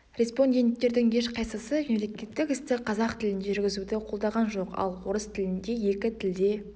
респонденттердің ешқайсысы мемлекеттік істі қазақ тілінде жүргізуді қолдаған жоқ ал орыс тілінде екі тілде